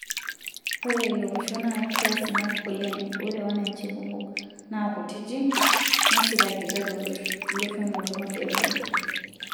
Ore ilo osho naa kiasinak oleng, ore wananchi kumok nakutiti nesikakita loshon loo nkwapi eboo.